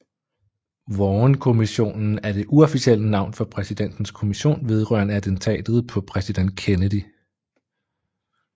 Warrenkommissionen er det uofficielle navn for Præsidentens kommission vedrørende attentatet på præsident Kennedy